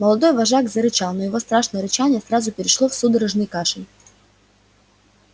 молодой вожак зарычал но его страшное рычание сразу перешло в судорожный кашель